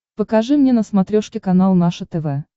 покажи мне на смотрешке канал наше тв